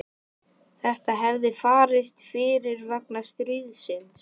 Þetta hefði farist fyrir vegna stríðsins.